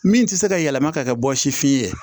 Min tɛ se ka yɛlɛma ka kɛ bɔsi fiyɛn ye